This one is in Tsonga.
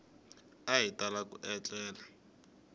a hi tala ku etlela